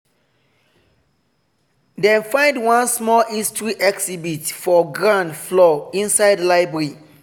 dem find one small history exhibit for ground floor inside library.